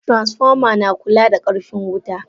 Transformer na kula da karfin wuta.